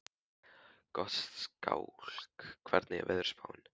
Gottskálk, hvernig er veðurspáin?